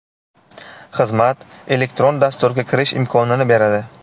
Xizmat elektron dasturga kirish imkonini beradi.